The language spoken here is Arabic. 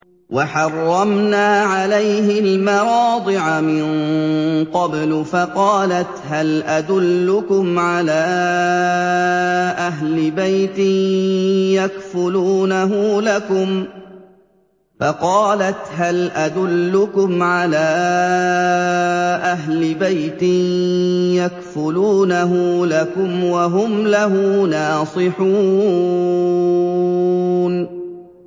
۞ وَحَرَّمْنَا عَلَيْهِ الْمَرَاضِعَ مِن قَبْلُ فَقَالَتْ هَلْ أَدُلُّكُمْ عَلَىٰ أَهْلِ بَيْتٍ يَكْفُلُونَهُ لَكُمْ وَهُمْ لَهُ نَاصِحُونَ